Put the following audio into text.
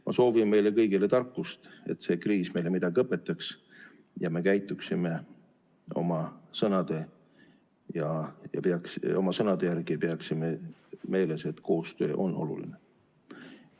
Ma soovin meile kõigile tarkust, et see kriis meile midagi õpetaks ja me käituksime oma sõnade järgi ning peaksime meeles, et koostöö on oluline.